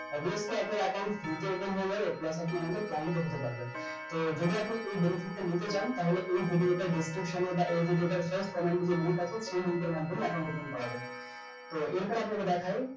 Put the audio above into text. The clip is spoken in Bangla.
obviously আপনার account free তে open হয়ে যাবে plus আপনি আমাদের client ও হতে পারবেন তো যদি আপনি এই benefit টা নিতে চান তাহলে এই video টার description এ বা এই video টার first comment এ যে link আছে সেই link এর মাধ্যমে account open করবেন তো এরপর আপনাকে দেখাই